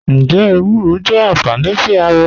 Njẹ ewúrọ jẹ anfání sí ara?